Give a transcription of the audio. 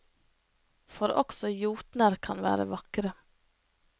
For også jotner kan være vakre.